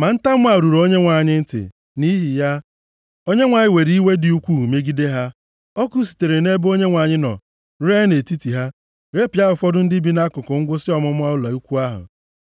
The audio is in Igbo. Ma ntamu a ruru Onyenwe anyị ntị. Nʼihi ya, Onyenwe anyị were iwe dị ukwuu megide ha. Ọkụ sitere nʼebe Onyenwe anyị nọ, ree nʼetiti ha, repịa ụfọdụ ndị bi nʼakụkụ ngwụsị ọmụma ụlọ ikwu ahụ.